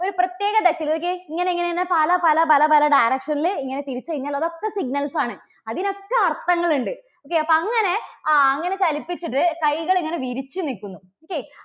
ഇങ്ങനെ പല, പല, പല, പല direction ൽ ഇങ്ങനെ തിരിച്ചു കഴിഞ്ഞാൽ അതൊക്കെ signals ആണ്. അതിനൊക്കെ അർത്ഥങ്ങളുണ്ട്. okay അപ്പോൾ അങ്ങനെ അങ്ങനെ ചലിപ്പിച്ചിട്ട് കൈകൾ ഇങ്ങനെ വിരിച്ചു നിൽക്കുന്നു. okay